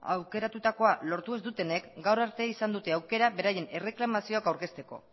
aukeratutakoa lortu ez dutenek gaur arte izan dute aukera beraien erreklamazioak aurkezteko